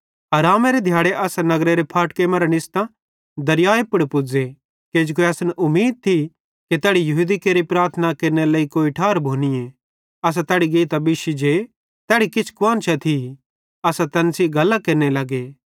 आरामेरे दिहाड़े असां नगरेरे फाटके मरां निस्तां दरियाए पुड़ पुज़े किजोकि असन उमीद थी कि तैड़ी यहूदी केरि प्रार्थना केरनेरी कोई ठार भोनीए असां तैड़ी गेइतां बिश्शी जे तैड़ी किछ कुआन्शां थी असां तैन सेइं गल्लां केरने लगे